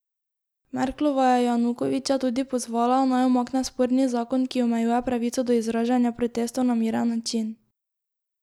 Merklova je Janukoviča tudi pozvala, naj umakne sporni zakon, ki omejuje pravico do izražanja protestov na miren način.